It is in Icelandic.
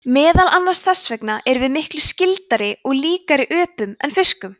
meðal annars þess vegna erum við miklu „skyldari“ og líkari öpum en fiskum